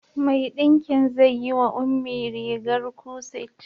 Mai ɗinki zai yi wa Ummi rigar kuset.